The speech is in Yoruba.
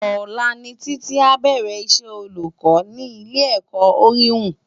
Ólà ni Titi ábèrè Isè ólúkò ni Ilé èkò Óriwú